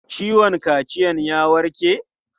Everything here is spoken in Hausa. Ciwon kaciyan ya warke?